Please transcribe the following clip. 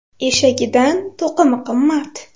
Eshagidan to‘qimi qimmat.